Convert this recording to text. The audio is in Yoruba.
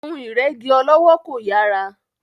Ohun ìrẹ́gí ọlọ́wọ́ kò yàrá.